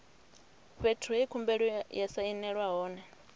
fhethu he khumbelo ya sainelwa hone